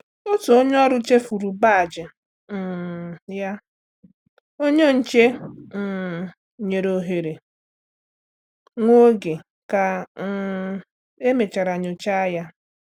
Otu onye ọrụ chefuru baajị um ya, onye nche um nyere ohere nwa oge ka um emechara nyocha ya.